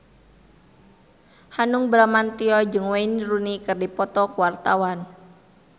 Hanung Bramantyo jeung Wayne Rooney keur dipoto ku wartawan